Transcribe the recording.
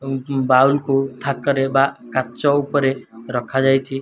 ଉଁ ବୋଉଲ୍ କୁ ଥାକରେ ବା କାଚ ଉପରେ ରଖାଯାଇଚି।